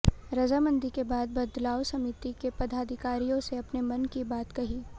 रजामंदी के बाद बदलाव समिति के पदाधिकारियों से अपने मन की बात कही